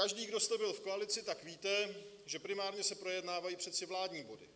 Každý, kdo jste byl v koalici, tak víte, že primárně se projednávají přece vládní body,